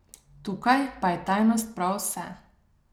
Tukaj pa je tajnost prav vse.